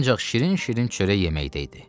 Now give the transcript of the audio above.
Ancaq şirin-şirin çörək yeməkdə idi.